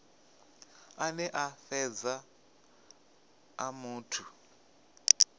ane a fhedza a muthu